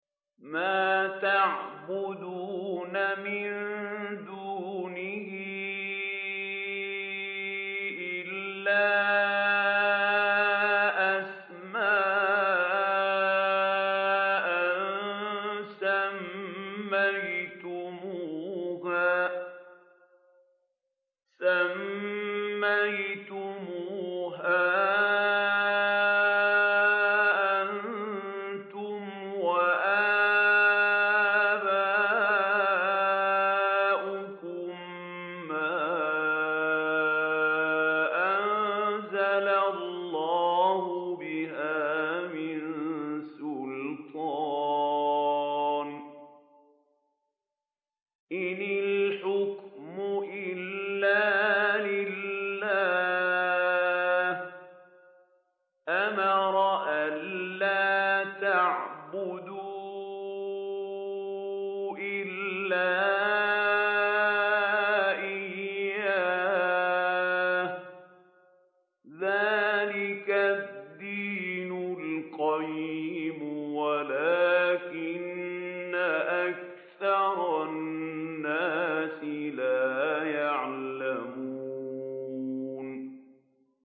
مَا تَعْبُدُونَ مِن دُونِهِ إِلَّا أَسْمَاءً سَمَّيْتُمُوهَا أَنتُمْ وَآبَاؤُكُم مَّا أَنزَلَ اللَّهُ بِهَا مِن سُلْطَانٍ ۚ إِنِ الْحُكْمُ إِلَّا لِلَّهِ ۚ أَمَرَ أَلَّا تَعْبُدُوا إِلَّا إِيَّاهُ ۚ ذَٰلِكَ الدِّينُ الْقَيِّمُ وَلَٰكِنَّ أَكْثَرَ النَّاسِ لَا يَعْلَمُونَ